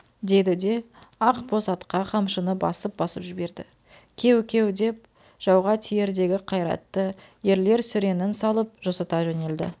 деді де ақ боз атқа қамшыны басып-басып жіберді кеу-кеу деп жауға тиердегі қайратты ерлер сүренін салып жосыта жөнелді